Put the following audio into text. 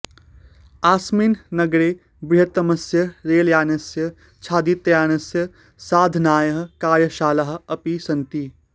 अस्मिन् नगरे बृहत्तमस्य रेलयानस्य छादितयानस्य सन्धानाय कार्यशालाः अपि सन्ति